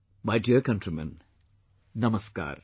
My dear countrymen, Namaskar